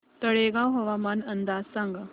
तळेगाव हवामान अंदाज सांगा